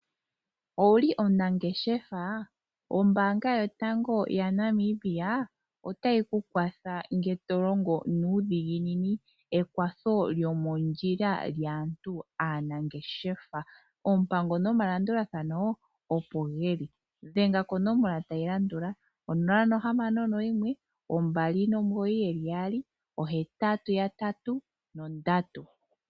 Owuli omunangeshefa? Ombaanga yotango yaNamibia otayi ku kwatha ngele to longo nuudhiginini, ekwatho lyomondjila lyaantu aanangeshefa. Oompango nomalandulathano opo ge li. Dhenga konomola tayi landula: 0612998883.